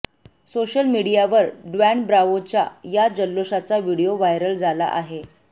social मीडियावर Dwayne ब्राव्होच्या या जल्लोषाचा व्हिडिओ व्हायरल झाला आहे